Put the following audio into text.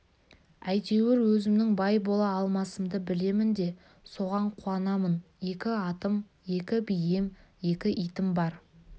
әйтеуір өзімнің бай бола алмасымды білемін де соған қуанамын екі атым екі бием екі итім бар